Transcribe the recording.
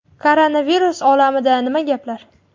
Koronavirus olamida nima gaplar?